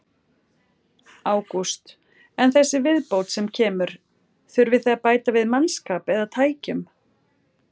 Ágúst: En þessi viðbót sem kemur, þurfið þið að bæta við mannskap eða tækjum?